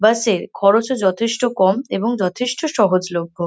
বাস -এর খরচও যথেষ্ট কম এবং যথেষ্ট সহজলভ্য।